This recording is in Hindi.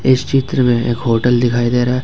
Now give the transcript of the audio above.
इस चित्र में एक होटल दिखाई दे रहा है।